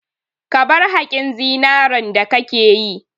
Ka bar haƙin zinaren da kake yi!